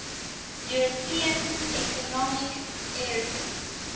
european economic area